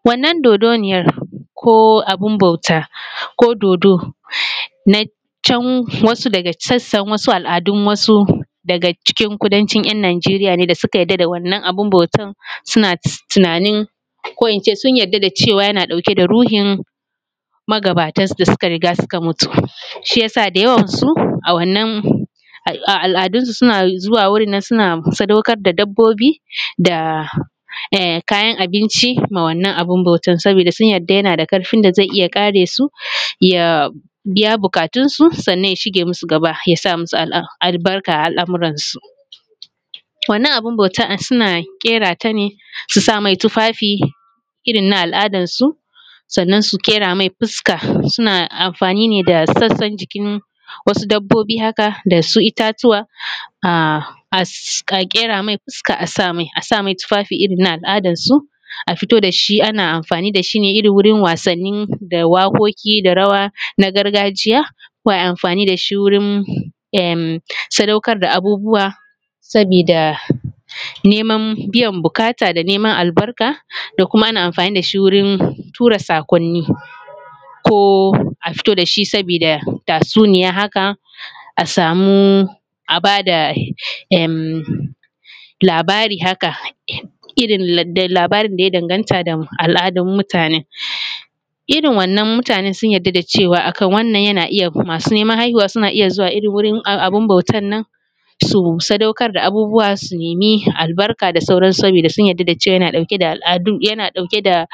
Wannan dodonniyan ko abunbau ta ko dodo na can wasu daga can wasu al'adu daga cikin kudancin ‘yan’ najeriya ne da suka yadda da wannan abun bautan sun yadda da cewan tana ɗauke da ruhin magatan da suka mutu. Shiyasa da yawan su a al'adun su suna zuwa wurinne suna saɗaukar da dabbobi da kayan abinci ma wannan abun abautan saboda sun yadda zai iyya kare ya biya buƙatun su sannan ya shige musu gaba, ya musu albarka a al'amuran su. Wannan abun bautan suna kera tane su samai tufafi irrin na al'adan su sannan su kera mai fuska, suna amfani me da sassan jikin wasu dabbobi haka dasu ittatuwa a kera mai fuska asamai a samai tufafi irrin na al'adan su a fito dashi ana amfani dashi wurin wasanni da wakoki da rawa na gargajiya. Ko ai amfani dashi wurin sadaukar da abubuwa saboda neman biyan buƙata da neman albarka da kuma ana amfani dashi wurin tura sakonni. Ko a fito dashi saboda tatsuniya haka a samu a bada labari haka, irrin labarin daya danganta al'adun mutane. Irrin wannan mutane sun yadda da cewan masu neman haihuwa suna iyya zuwa wurin abun bautan an su sadaukar da abubuwa su nemi albarka da sauran su, saboda sun yadda da cewan tana dauke da al'adu, tana dauke da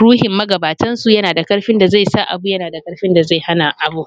ruhin magabatan su yanada karfin da zaisa abu ya nada karfin da zai hana abu.